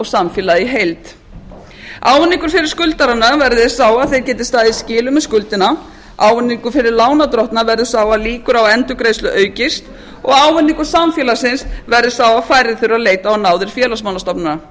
samfélagið í heild ávinningur fyrir skuldarana verði sá að þeir geti staðið í skilum með skuldina ávinningur fyrir lánardrottna verður sá að líkur á endurgreiðslu aukist og ávinningur samfélagsins verði sá að færri þurfa að leita á náðir félagsmálastofnana